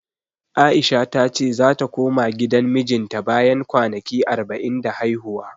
A'isha ta ce zata koma gidan mijinta bayan kwanaki arba'in da haihuwa.